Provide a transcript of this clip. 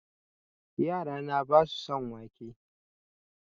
Yara na basu son wake